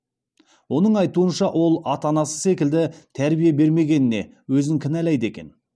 оның айтуынша ол ата анасы секілді тәрбие бермегеніне өзін кінәлайды екен